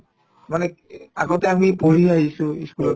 মানে আগতে আমি পঢ়ি আহিছো ই school তো